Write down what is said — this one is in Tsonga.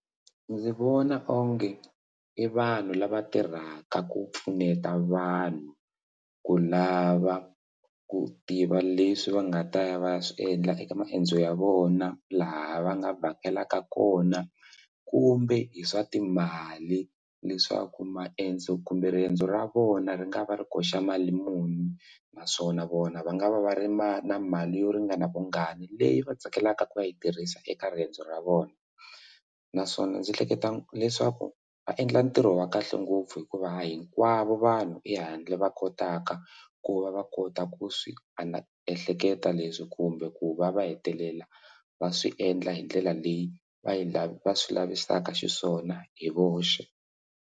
Ndzi vona onge i vanhu lava tirhaka ku pfuneta vanhu ku lava ku tiva leswi va nga ta ya va ya swiendla eka maendzo ya vona laha va nga vhakelaka kona kumbe hi swa timali leswaku maendzo kumbe riendzo ra vona ri nga va ri koxa mali muni naswona vona va nga va va ri mali na mali yo ringana vungani leyi va tsakelaka ku yi tirhisa eka riendzo ra vona naswona ndzi hleketa leswaku va endla ntirho wa kahle ngopfu hikuva hinkwavo vanhu ehandle va kotaka ku va va kota ku swi ana ehleketa leswi kumbe ku va va hetelela va swi endla hi ndlela leyi va yi lava swi lavisaka xiswona hi voxe.